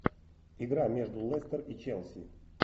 игра между лестер и челси